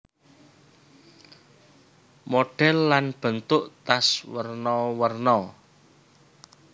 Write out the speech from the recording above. Modhèl lan bentuk tas werna werna